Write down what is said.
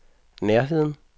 nærheden